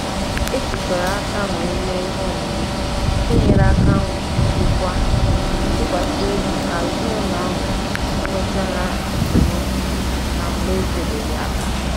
E jikọrọ aka wee mee ihe omume nke nyere aka wulitekwa ntụkwasị obi ka ezinụlọ ahụ nwechara esemokwu na mgbe etebeghị aka